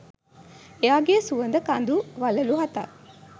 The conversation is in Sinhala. එයාගෙ සුවඳ කඳු වළලු හතක්